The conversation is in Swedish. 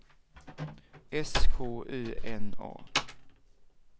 S K Ö N A